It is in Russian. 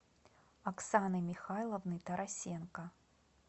оксаны михайловны тарасенко